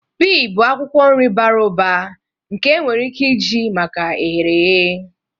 Pee bụ akwukwo nri bara ụba nke enwere ike iji maka eherehe.